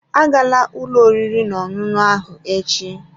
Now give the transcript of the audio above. A gala ụlọ oriri n'ọṅụṅụ ahụ echi!